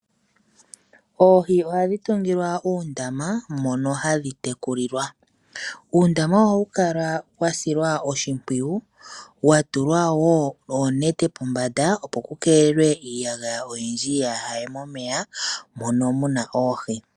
Oohi ohadhi tungilwa uundama mono hadhi tekulilwa uundama ohawu kala wa silwa oshimpwiyu wa tulwawo oonete pombanda opo ku keelelwe iiyaga oyindji ya haye momeya mono muna oohi.